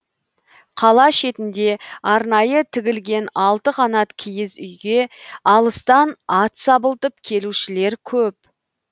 қала шетінде арнайы тігілген алты қанат киіз үйге алыстан ат сабылтып келушілер көп